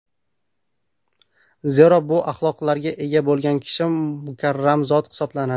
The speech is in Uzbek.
Zero, bu axloqlarga ega bo‘lgan kishi mukarram zot hisoblanadi.